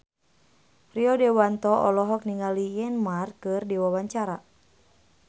Rio Dewanto olohok ningali Neymar keur diwawancara